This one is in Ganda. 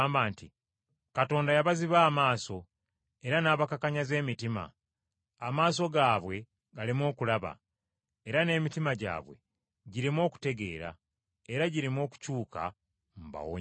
“Katonda yabaziba amaaso, era n’abakakanyaza emitima, amaaso gaabwe galeme okulaba, era n’emitima gyabwe gireme okutegeera, era gireme okukyuka, mbawonye.”